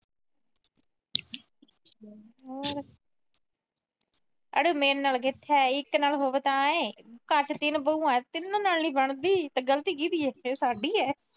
ਅਰੇ ਮੇਰੇ ਨਾਲ ਕਿਥੇ ਆਈ। ਇਕ ਨਾਲ ਹੋਵੇ ਤਾਂ ਏ। ਘਰ ਚ ਤਿੰਨ ਬਹੂਆਂ। ਤਿੰਨਾਂ ਨਾਲ ਨੀ ਬਣਦੀ। ਗਲਤੀ ਕਿਹਦੀ ਏ, ਇਹ ਸਾਡੀ ਏ।